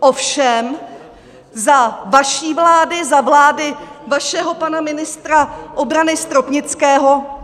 Ovšem za vaší vlády, za vlády vašeho pana ministra obrany Stropnického...